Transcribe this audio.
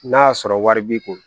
N'a y'a sɔrɔ wari b'i kun